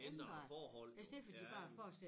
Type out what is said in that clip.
Ændrede forhold jo ja